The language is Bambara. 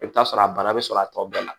I bɛ t'a sɔrɔ a bana bɛ sɔrɔ a tɔ bɛɛ la